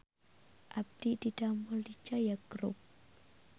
Abdi didamel di Jaya Group